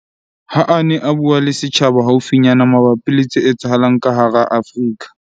Ha a ne a bua le setjhaba haufinyana mabapi le tse etsahalang ka hara Afrika